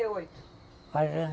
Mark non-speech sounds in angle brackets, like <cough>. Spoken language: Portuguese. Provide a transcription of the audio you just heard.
quarenta e oito <unintelligible>